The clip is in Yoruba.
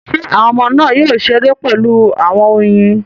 Ṣé àwọn ọmọ náà yóò ṣeré pẹ̀lú àwọn oyin?